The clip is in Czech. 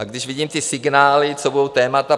A když vidím ty signály, co budou témata.